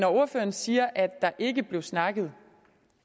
ordføreren siger at der ikke blev snakket